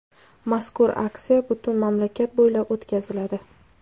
Mazkur aksiya butun mamlakat bo‘ylab o‘tkaziladi.